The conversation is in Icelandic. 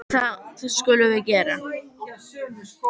Og það skulum við gera.